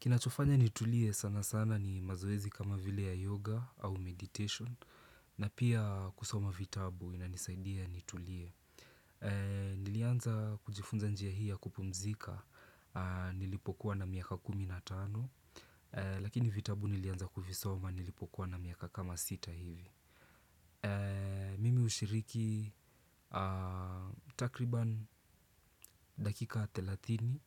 Kinachofanya nitulie sana sana ni mazoezi kama vile ya yoga au meditation na pia kusoma vitabu inanisaidia nitulie. Nilianza kujifunza njia hii ya kupumzika nilipokuwa na miaka kumi na tano lakini vitabu nilianza kuvisoma nilipokuwa na miaka kama sita hivi. Mimi hushiriki takriban dakika thelathini